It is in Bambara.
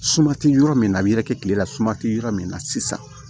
Suma tɛ yɔrɔ min na a bi yɛrɛkɛ kilela suma tɛ yɔrɔ min na sisan